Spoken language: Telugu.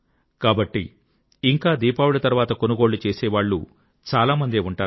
కాబట్టి ఇంకా దీపావళి తర్వాత కొనుగోళ్ళు చేసేవాళ్ళు చాలామందే ఉంటారు